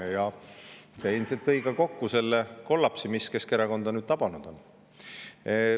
See kõik kokku ilmselt tõi kaasa selle kollapsi, mis Keskerakonda nüüd tabanud on.